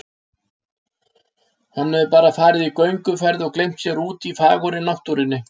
Hann hefur bara farið í gönguferð og gleymt sér úti í fagurri náttúrunni